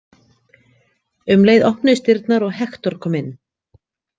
Um leið opnuðust dyrnar og Hektor kom inn.